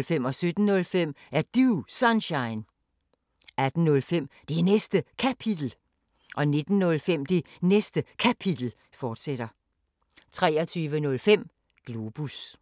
Er Du Sunshine? 17:05: Er Du Sunshine? 18:05: Det Næste Kapitel 19:05: Det Næste Kapitel, fortsat 23:05: Globus